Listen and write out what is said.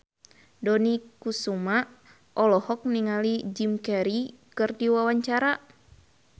Dony Kesuma olohok ningali Jim Carey keur diwawancara